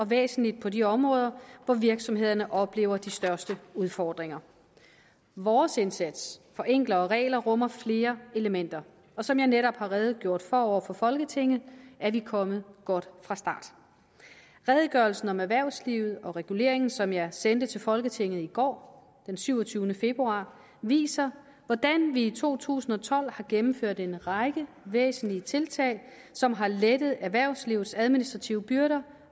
væsentlig på de områder hvor virksomhederne oplever de største udfordringer vores indsats for enklere regler rummer flere elementer og som jeg netop har redegjort for over for folketinget er vi kommet godt fra start redegørelsen om erhvervslivet og reguleringen som jeg sendte til folketinget i går den syvogtyvende februar viser hvordan vi i to tusind og tolv har gennemført en række væsentlige tiltag som har lettet erhvervslivets administrative byrder